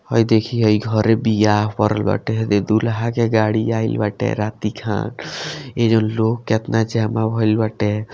हेय देखी हइ घरे ब्याह पड़ल बाटे हे देखी दूल्हा के गाड़ी आइल बाटे राती के हअ एजा लोग केतना छै हमरा भइल बाटे।